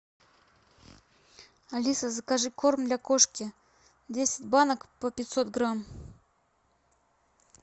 алиса закажи корм для кошки десять банок по пятьсот грамм